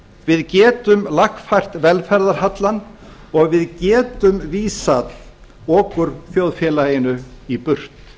við getum lagfært velferðarhallann og við getum vísað okurþjóðfélaginu í burt